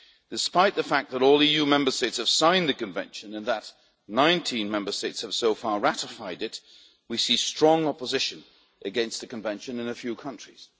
Despite the fact that all EU Member States have signed the Convention and that 19 Member States have so far ratified it, we see strong opposition against the Convention in a few countries.